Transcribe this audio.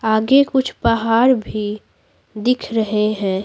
आगे कुछ पहाड़ भी दिख रहे हैं।